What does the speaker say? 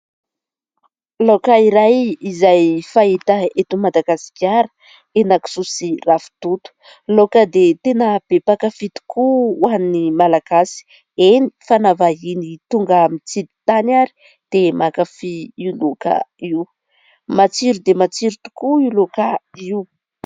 Laoka iray, izay fahita eto Madagasikara : henan-kisoa sy ravitoto, laoka dia tena be mpakafy tokoa ho an'ny Malagasy, eny, fa na vahiny tonga mitsidi-tany ary dia mankafy io laoka io, matsiro dia matsiro tokoa io laoka io.